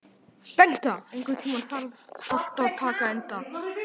Bengta, einhvern tímann þarf allt að taka enda.